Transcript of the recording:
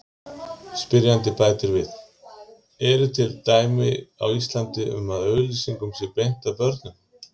Spyrjandi bætir við: Eru til dæmi á Íslandi um að auglýsingum sé beint að börnum?